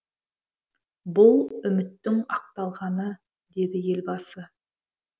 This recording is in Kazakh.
бұл үміттің ақталғаны деді елбасы